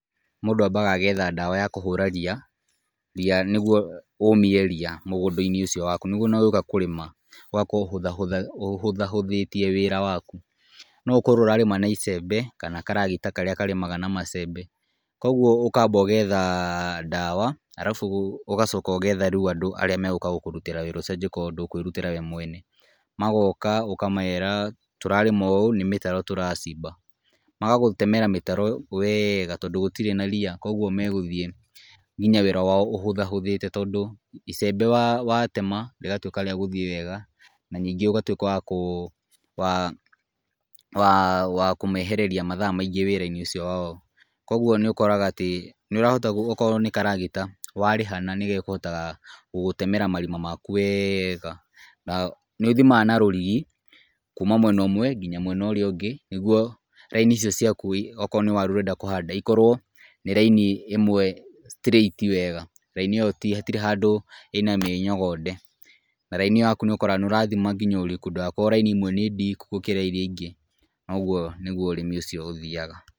Mũndũ ambaga agetha ndawa ya kũhũra riya nĩguo ũmie riya mũgũndainĩ ũcio waku nĩguo ona ũgĩũka kũrĩma ũgakorwo ũhũthahũthĩtie wĩra waku. No ũkorwo ũrarĩma na icembe kana karagita karĩa karĩmaga na macembe. Koguo ũkamba ũgetha ndawa arabu ũgacoka ũgetha rĩu andũ arĩa megũka gũkũrutĩra wĩra ũcio angĩkorwo ndũkũĩrutĩra wee mwene. Magoka ũkamera tũrarĩma ũũ nĩ mĩtaro tũracimba, magagũtemera mĩtaro wega tondũ gũtirĩ na riya. Koguo megũthiĩ nginya wĩra wao ũhũthahũthĩte tondũ icembe watema rĩratuĩka rĩagũthiĩ wega na ningĩ ũgatuĩka wa kũmehereria mathaa maingĩ wĩrainĩ ũcio wao. Koguo nĩũkoraga atĩ akorwo nĩ karagita warĩhana nĩgekũhota gũgũtemera marima maku wega na nĩũthimaga na rũrigi kuma mwena ũmwe nginya mwena ũrĩa ũngĩ nĩguo raini icio ciaku akorwo nĩ waru ũrenda kũhanda ĩkorwo nĩ raini ĩmwe straight wega. Raini ĩyo hatirĩ handũ ĩna mĩnyogonde. Raini ĩyo yaku nĩũkoraga nĩũrathima nginya ũriku ndũgakorwo raini imwe nĩ ndiku gũkĩra iria ingĩ na ũguo nĩguo ũrĩmi ũcio ũthiyaga.